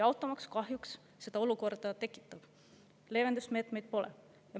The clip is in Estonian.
Automaks kahjuks seda olukorda tekitab ning leevendusmeetmeid pole.